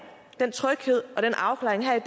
den tryghed og den afklaring her